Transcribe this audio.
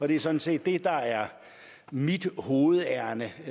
det er sådan set det der er mit hovedærinde